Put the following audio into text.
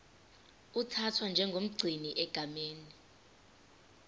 uthathwa njengomgcini egameni